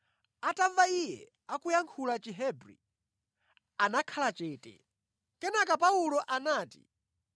Atamva iye akuyankhula Chihebri, anakhala chete. Kenaka Paulo anati,